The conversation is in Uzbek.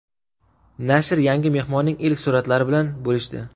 Nashr yangi mehmonning ilk suratlari bilan bo‘lishdi .